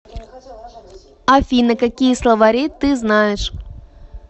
афина какие словари ты знаешь